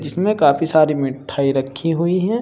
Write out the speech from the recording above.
इसमें काफी सारी मिठाई रखी हुई हैं।